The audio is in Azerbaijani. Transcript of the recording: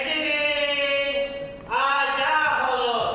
Eşidin, agah olun.